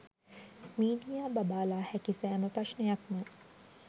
media බබාලා හැකි සෑම ප්‍රශ්ණයක්ම